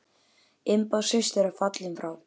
Imba systir er fallin frá.